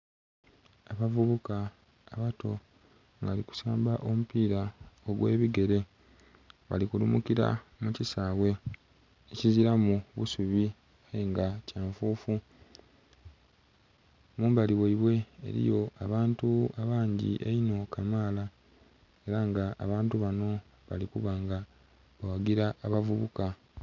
Abavubuka abato nga bali kusamba omupira ogwebigere bali kulumukira mukisawe ekiziramu busubi nga kyanfufu. Mumbali mwaibwe eriyo abantu abangi einho kamala era nga abantu bano balikubanga baghagira abavubuka.